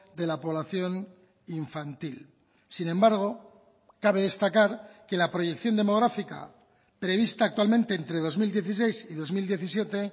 de la población infantil sin embargo cabe destacar que la proyección demográfica prevista actualmente entre dos mil dieciséis y dos mil diecisiete